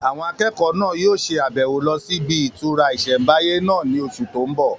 Àwọn akẹ́kọ̀ọ́ náà yóò ṣe àbẹ̀wò lọ sí ibi ìtura ìsẹ̀mbáyé náà ní oṣù tó n bọ̀